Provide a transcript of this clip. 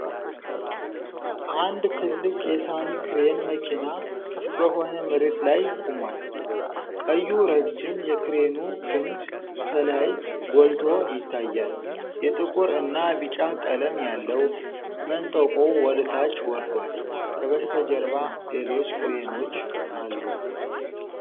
አንድ ትልቅ ቢጫ የሳኒ ክሬን መኪና ክፍት በሆነ መሬት ላይ ቆሟል። ቀዩ ረጅም የክሬኑ ክንድ ከላይ ጎልቶ ይታያል፤ የጥቁር እና ቢጫ ቀለም ያለው መንጠቆው ወደታች ወርዷል። ከበስተጀርባ ሌሎች ክሬኖች አሉ።